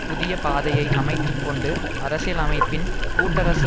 புதிய பாதையை அமைத்துக்கொண்டு அரசியலமைப்பின் கூட்டரசு